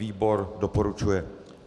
Výbor doporučuje.